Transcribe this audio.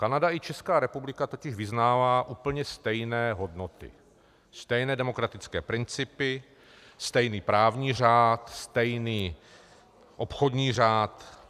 Kanada i Česká republika totiž vyznává úplně stejné hodnoty, stejné demokratické principy, stejný právní řád, stejný obchodní řád.